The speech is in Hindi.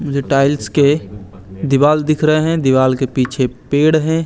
मुझे टाइल्स के दीवाल दिख रहे हैं। दीवाल के पीछे पेड़ है।